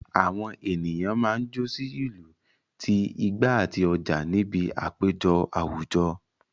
Àwọn ènìyàn máa ń jó sí ìlù ti igba àti oja níbi àpéjọ àwùjọ